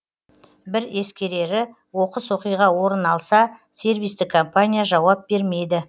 бір ескерері оқыс оқиға орын алса сервистік компания жауап бермейді